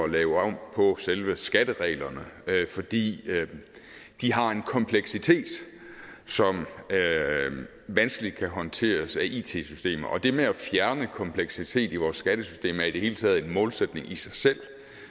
lave om på selve skattereglerne fordi de har en kompleksitet som vanskeligt kan håndteres af it systemer og det med at fjerne kompleksitet i vores skattesystem er i det hele taget en målsætning i sig selv